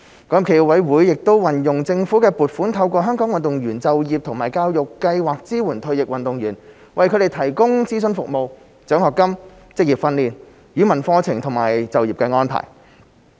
港協暨奧委會亦運用政府的撥款，透過香港運動員就業及教育計劃支援退役運動員，為他們提供諮詢服務、獎學金、職業訓練、語文課程和就業安排。